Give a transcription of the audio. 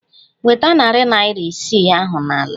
Nweta narị naira isii ahụ n'ala!